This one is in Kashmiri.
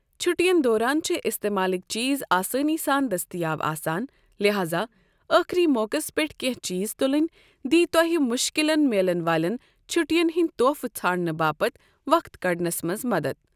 چھُٹِین دوران چھِ استعمالٕكۍ چیٖز آسٲنی سان دٔستِیاب آسان لہاذا ٲخری موقعس پٮ۪ٹھ كینہہ چیٖز تُلنۍ دی تۄہہِ مُشكِلن میلن والٮ۪ن چھُٹِین ہٕندِ طوفہٕ ژھانڈنہٕ باپتھ وقت كڑنس منز مدد۔